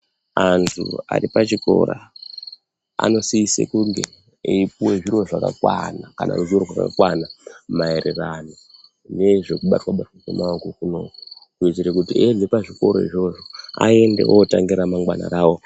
Antu aripachikora anosisa kunge eipuwe zviro zvakakwana kana ruziwo rakakwana maererano nezvekubatwabatwa kwemaoko kunoku kuitire kuti eibve pazvikora izvozvo aende otange remangwana rawo.